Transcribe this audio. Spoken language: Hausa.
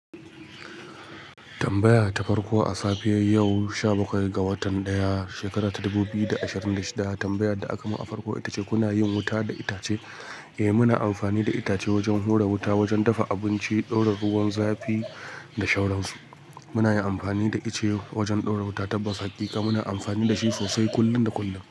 Tambaya ta farko a safiyar yau, sha bakwai ga watan ɗaya shekara ta dubu biyu da ashirin da shida. Tambayar da aka yi a farko ita ce kuna yin wuta da itace? Eh, muna amfani da itace wajen hura wuta, wajen dafa abinci, ɗora ruwan zafi da sauransu. Muna yin amfani da ice wajen ɗora wuta, tabbas hakika. Muna amfani da shi sosai kullum da kullum.